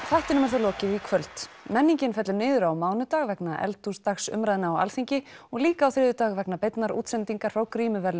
þættinum er þá lokið í kvöld menningin fellur niður á mánudag vegna eldhúsdagsumræðna á Alþingi og líka á þriðjudag vegna beinnar útsendingar frá